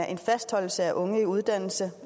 en fastholdelse af unge i uddannelse